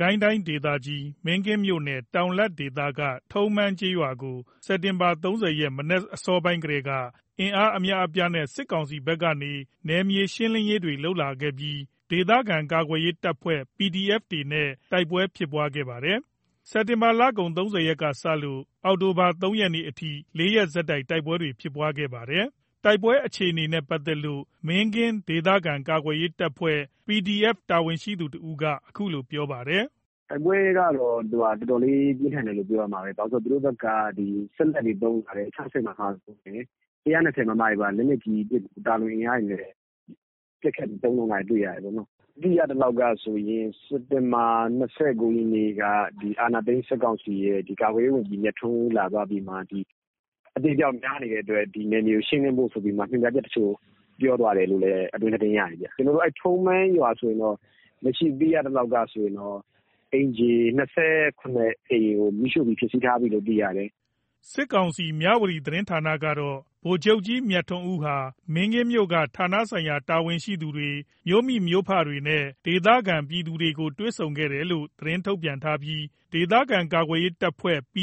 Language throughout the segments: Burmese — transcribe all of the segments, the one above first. ကိုင်းတိုင်းဒေသကြီး မင်းကင်းမြို့နယ် တောင်လတ်ဒေသက ထုံးမန်းရွာကို စက်တင်ဘာ ၃၀ ရက် မနက်အစောပိုင်းကတည်းက အင်အား အများအပြားနဲ့ စစ်ကောင်စီဘက်က နယ်မြေရှင်းလင်းရေးတွေလုပ်လာခဲ့ပြီး ဒေသခံကာကွယ်ရေး တပ်ဖွဲ့တွေနဲ့ တိုက်ပွဲဖြစ်ပွားနေတာပါ။ စက်တင်ဘာ ၃၀ ကစလို့ ဒီကနေ့ အောက်တိုဘာ ၃ ရက်အထိ ၄ ရက်ဆက်ပြီးတိုက်ပွဲတွေဖြစ်ပွားနေပါတယ်။ တိုက်ပွဲအခြေအနေနဲ့ ပတ်သက်လို့ မင်းကင်းဒေသခံကာကွယ်ရေးတပ်ဖွဲ့ရဲ့ တာဝန်ရှိသူတဦးက အခုလိုပြောပါတယ်။ “တိုက်ပွဲက တော်တော်လေးပြင်းထန်တယ်လို့ ပြောရမှာပဲ။ သူတို့ဘက်က စက်လတ်တွေသုံးလာတယ်။ ၆၀ မမ ၊ ၁၂၀ မမ တွေနဲ့ လက်နက်ကြီးတွေ ပစ်ပြီး သာလွန်အင်အားတွေနဲ့ ပစ်ခတ်ပြီး သုံးလာတာကိုတွေ့ရတယ်။ သိရသလောက် စက်တင်ဘာ ၂၉ ရက်က အာဏာသိမ်းစစ်ကောင်စီရဲ့ ကာကွယ်ရေးဝန်ကြီး မြထွန်းဦး လာသွားပြီးမှ အသေအပျောက်များနေတဲ့အတွက် ဒီနယ်မြေကို ရှင်းလင်းဖို့ဆိုပြီး ညွှန်ကြားချက်အချို့ ပြောသွားတယ်လို့ အတွင်းသတင်းရတယ်။ ထုံးမန်းရွာဆိုရင်တော့ လက်ရှိသိရသလောက် အိမ်ခြေ ၂၇ အိမ်ကို မီးရှို့ပြီး ဖျက်စီးထားပြီလို့ သိရတယ်။” စစ်ကောင်စီရဲ့ သတင်းဌာန မြဝတီမှာတော့ ဗိုလ်ချုပ်ကြီး မြထွန်းဦးဟာ မင်းကင်းမြို့က ဌာနဆိုင်ရာ တာဝန်ရှိသူများ မြို့မိမြို့ဖတွေနဲ့ ဒေသခံပြည်သူတွေကို တွေ့ဆုံခဲ့တယ်လို့ သတင်းထုတ်ပြန်ထားပြီး ဒေသခံကာကွယ်ရေး တပ်ဖွဲ့တွေ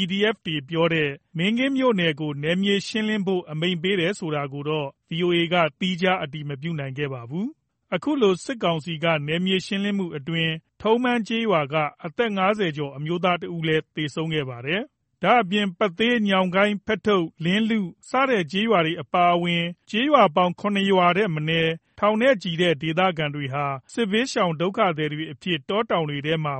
ပြောတဲ့ မင်းကင်းမြို့နယ်ကို နယ်မြေရှင်းလင်းဖို့ ပြောကြားချက်ကိုတော့ ဗွီအိုအေက သီးခြား အတည်မပြုနိုင်ပါဘူး။ အခုလို စစ်ကောင်စီက နယ်မြေရှင်းလင်းမှုအတွင်း ထုံးမန်းကျေးရွာက အသက် ၅၀ ကျော် အမျိုးသားတဦးလည်း သေဆုံးခဲ့ပါတယ်။ ဒါ့အပြင် ထုံးမန်းကျေးရွာအပါအဝင် ပသေး ၊ ညောင်ကိုင်း ၊ ဖက်ထုပ် ၊ လင်းလု စတဲ့ ကျေးရွာတွေအပြင် ၇ ရွာထက်မနည်းက ထောင်နဲ့ချီတဲ့ ဒေသခံတွေဟာ စစ်ဘေးရှောင်အဖြစ် တောတောင်တွေထဲမှာ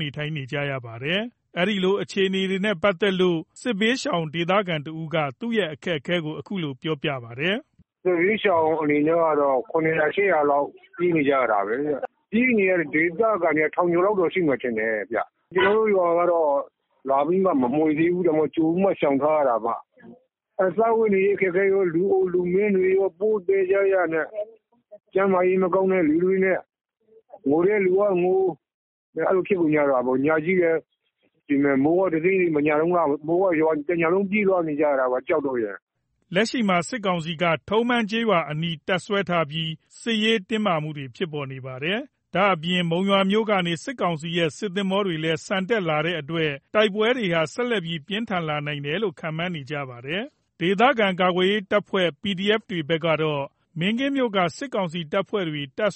နေထိုင်နေရပါတယ်။ တိမ်းရှောင်နေရတဲ့ အခြေအနေနဲ့ ပတ်သက်လု့ိ စစ်ဘေးရှောင်နေရတဲ့ ဒေသခံတဦးက သူတို့ရဲ့ အခက်အခဲကို အခုလိုပြောပြပါတယ်။ “စစ်ဘေးရှောင် အနေနဲ့က ၇ ရွာ ၈ ရွာလောက် ပြေးနေကြရတာပဲ။ ပြေးနေရတဲ့ ဒေသခံတွေက ထောင်ကျော်လောက်တော့ ရှိမယ်ထင်တယ်။ ကျွန်တော်တို့ရွာကတော့ လာပြီးတော့ မမွှေသေးဘူး။ ဒါပေမယ့် ကြိုပြီးတော့ ရှောင်ထားရတာပေါ့။ စားဝတ်နေရေး အခက်အခဲကော၊ လူအို လူမင်းတွေကော ထုပ်ပိုးသယ်ကြရနဲ့ ကျန်းမာရေး မကောင်းတဲ့သူတွေနဲ့ ငိုတဲ့သူကငို အဲ့လိုဖြစ်ကုန်တာပေါ့။ ညကြီး မိုးကတစိမ့်စိမ့်နဲ့ရွာ ကြောက်ပြီးပြေးနေကြရတာပေါ့။” လက်ရှိမှာ စစ်ကောင်စီက ထုံးမန်းကျေးရွာအနီးမှာ ဆက်လက်တပ်စွဲထားပြီး စစ်ရေးတင်းမာနေကြပါတယ်။ ဒါ့အပြင် မုံရွာက စစ်ကောင်စီရဲ့ စစ်သင်္ဘောတွေလည်း ဆန်တက်လာပြီဖြစ်တဲ့အတွက် တိုက်ပွဲတွေပိုပြီး ပြင်းထန်လာနိုင်ပါတယ်။ ဒေသခံကာကွယ်ရေးတပ်ဖွဲ့တွေဘက်ကတော့ မင်းကင်းမြို့က စစ်ကောင်စီတပ်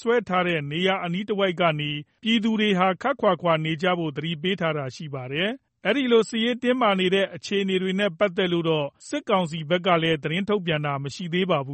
စွဲထားတဲ့နေရာတွေအနီးကနေ ပြည်သူတွေ ခပ်ခွါခွါနေကြဖို့ သတိပေးထားတာလည်း ရှိပါတယ်။ ဒီတိုက်ပွဲအခြေအနေတွေနဲ့ ပတ်သက်လို့တော့ စစ်ကောင်စီဘက်က သတင်းထုတ်ပြန်တာတော့ မရှိသေးပါဘူး